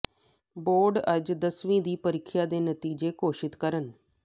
board ਅੱਜ ਦਸਵੀਂ ਦੀ ਪ੍ਰੀਖਿਆ ਦੇ ਨਤੀਜੇ ਘੋਸ਼ਿਤ ਕਰਨ